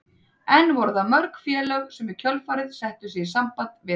En voru það mörg félög sem í kjölfarið settu sig í samband við hann?